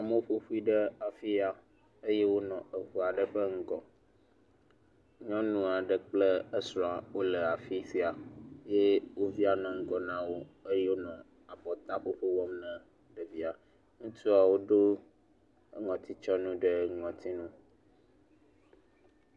Amewo ƒoƒu ɖe afi ya eye wonɔ eŋu aɖe ƒe ŋgɔ, nyɔnu aɖe kple esrɔ̃ wole afi sia eye wo via nɔ ŋgɔ na wo eye wonɔ abɔta ƒoƒo wɔm na wo via, enɔ nu fiɔm ɖe ŋɔti me.